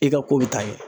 I ka ko bɛ taa ɲɛ